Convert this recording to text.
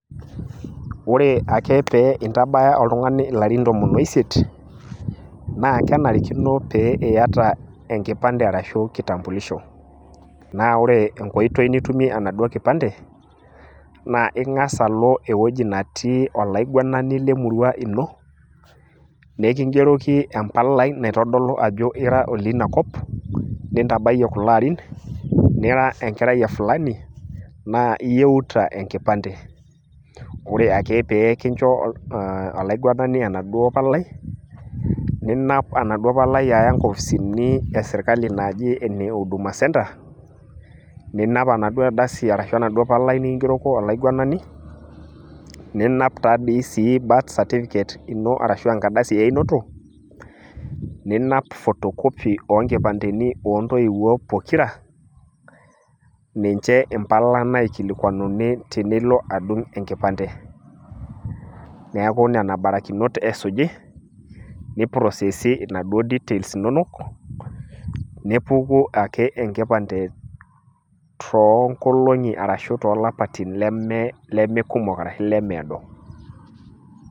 ore ake pee intabaya oltungani ilarin tiktam oisiet, naa kenarikino niata enkipande ashu kitambulisho, naa ore enkoitoi nitumie enaduoo kipande naa ing'as alo enetii olaiguanani lemurua ino mikigeroki empalai naitodolu ajo ira oleina kop, nintabayie kulo arin, nira enkerai e fulani, naa iyieuta enkipande. ore ake pee kincho olaiguanani enaduo palai, ninap aya inkopisini esirkali naji ene huduma center, ninap endauoo ardasi ashu enaduo palai nikigeroko olaiguanani, ninap taa dii sii birth certificate ino arshu enkardasi einoto, ninap photocopy oo nkipandeni oontoiwuo pokira, ninche impala naikilikuanani tenilo adung' enkipande, neeku nena barakinot esuji ni process inaduo details inonok, nepuku enkipande too nkolongi ashu too lapaitin limiado.